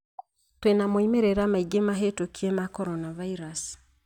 Twĩna moimĩrĩra maingĩ mahĩtũkie ma coronavirus